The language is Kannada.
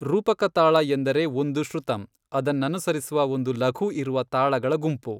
ರೂಪಕ ತಾಳ ಎಂದರೆ ಒಂದು ಶ್ರುತಮ್, ಅದನ್ನನುಸರಿಸುವ ಒಂದು ಲಘು ಇರುವ ತಾಳಗಳ ಗುಂಪು.